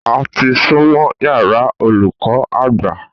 A ti súnmọ́ yàrá olùkó agba